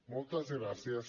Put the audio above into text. moltes gràcies